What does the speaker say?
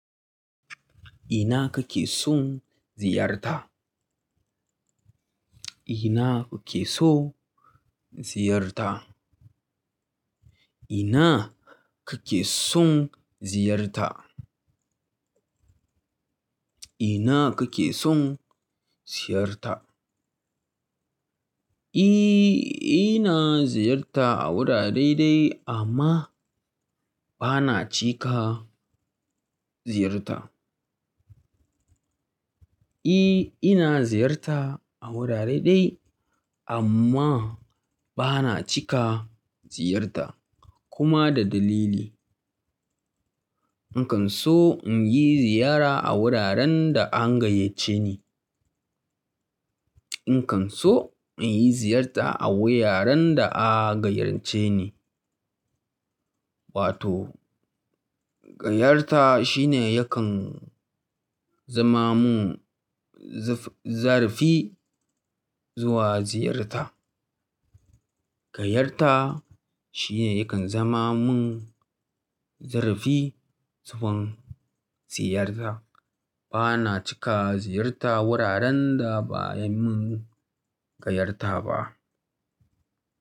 Ina kake son ziyarta? Ina kuke so ziyarta? Ina kake son ziyarta? Ina kake son ziyarta? E, ina ziyarta a wurare dai-dai amma bana cika ziyarta. E, ina ziyarta a wurare dai-dai amma bana cika ziyarta kuma da dalili. In kan so in yi ziyara a wuraren da an gayyace ni. In kan so in yi ziyarta a wuraren da a gayyace ni. Wato gayarta shine yakan zama mun zarafi zuwa ziyarta. Gayarta shine yakan zama mun zarafi zuwan ziyarta. Bana cika ziyarta wuraren da ba a yi mun gayarta ba.